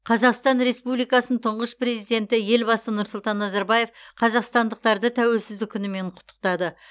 қазақстан республикасының тұңғыш президенті елбасы нұрсұлтан назарбаев қазақстандықтарды тәуелсіздік күнімен құттықтады